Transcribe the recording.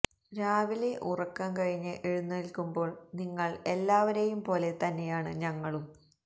രാവിലെ ഉറക്കം കഴിഞ്ഞ് എഴുന്നേല്ക്കുമ്പോള് നിങ്ങള് എല്ലാവരെയും പോലെ തന്നെയാണ് ഞങ്ങളും